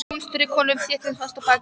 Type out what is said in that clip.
Hún strauk honum þéttingsfast á bakið.